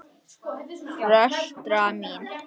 Fóstra mín